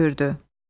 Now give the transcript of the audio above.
dedi hönkürdü.